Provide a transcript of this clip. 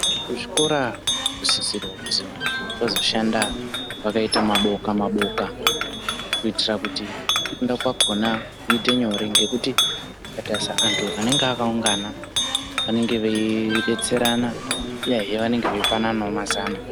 Kuzvikora kunosisirawo kuzwi vanhu vazoshanda vakaita maboka-maboka, kuitira kuti kufunda kwakhona kuite nyore, ngekuti ukatarisa anthu anenge akaungana, vanenge veidetserana, uyezve vanenge veipananawo mazano.